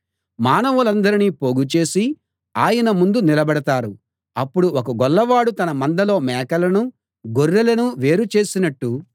మానవులందరినీ పోగుచేసి ఆయన ముందు నిలబెడతారు అప్పుడు ఒక గొల్లవాడు తన మందలో మేకలను గొర్రెలను వేరు చేసినట్టు